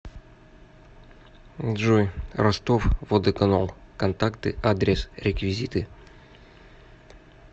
джой ростов водоканал контакты адрес реквизиты